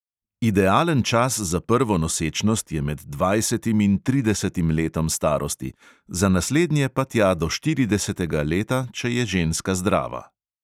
Idealen čas za prvo nosečnost je med dvajsetim in tridesetim letom starosti, za naslednje pa tja do štiridesetega leta, če je ženska zdrava.